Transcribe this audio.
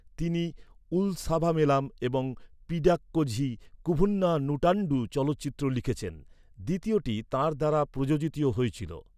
তিনি উলসাভামেলাম এবং পিডাক্কোঝি কুভুন্না নুটান্ডু চলচ্চিত্র লিখেছেন। দ্বিতীয়টি তাঁর দ্বারা প্রযোজিতও হয়েছিল।